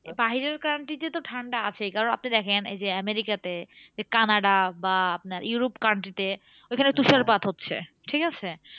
বাহিরের country তে তো ঠান্ডা আছেই। কারণ আপনি দেখেন এই যে আমেরিকাতে কানাডা বা আপনার Europe country তে ঐখানে তুষারপাত হচ্ছে, ঠিকাছে?